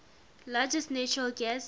largest natural gas